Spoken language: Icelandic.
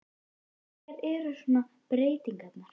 Hverjar eru svona breytingarnar?